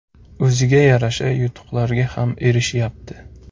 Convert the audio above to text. O‘ziga yarasha yutuqlarga ham erishyapti.